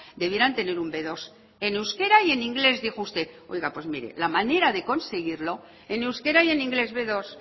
debieran tener un be dos en euskera y en inglés dijo usted oiga pues mire la manera de conseguirlo en euskera y en inglés be dos